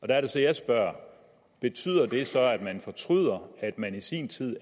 der er det så at jeg spørger betyder det så at man fortryder at man i sin tid i